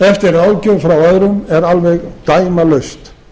eftir ráðgjöf frá öðrum er alveg dæmalaust